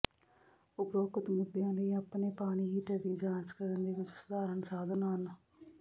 ਉਪਰੋਕਤ ਮੁੱਦਿਆਂ ਲਈ ਆਪਣੇ ਪਾਣੀ ਹੀਟਰ ਦੀ ਜਾਂਚ ਕਰਨ ਦੇ ਕੁੱਝ ਸਾਧਾਰਣ ਸਾਧਨ ਹਨ